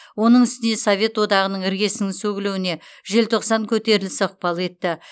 оның үстіне совет одағының іргесінің сөгілуіне желтоқсан көтерілісі ықпал етті